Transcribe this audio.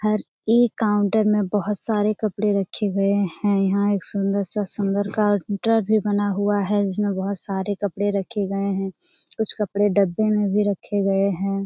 हर एक काउंटर में बोहोत सारे कपड़े रखे हुए हैं। यहां एक सुंदर सा सुंदर काउंटर भी बना हुआ है। जिसमें बोहोत सारे कपड़े रखे गए हैं। कुछ कपड़े डब्बे में भी रखे गए हैं।